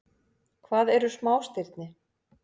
Hvað eru smástirni?